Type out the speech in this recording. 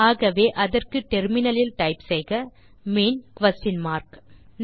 ஆகவே அதற்கு டெர்மினல் லில் டைப் செய்க மீன் குயஸ்ஷன் மார்க்